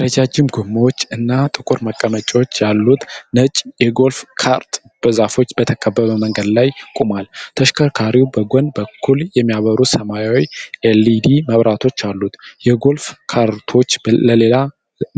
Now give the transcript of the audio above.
ረጃጅም ጎማዎች እና ጥቁር መቀመጫዎች ያሉት ነጭ የጎልፍ ካርት በዛፎች በተከበበ መንገድ ላይ ቆሟል። ተሽከርካሪው በጎን በኩል የሚያበሩ ሰማያዊ ኤልኢዲ መብራቶች አሉት። የጎልፍ ካርቶች ለሌላ